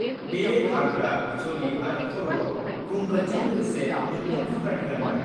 बेयो घाग्रा, चलि आरो खर'आव गुंगटजों लोगोसे मोन्थाम थुख्रानि गानग्रा।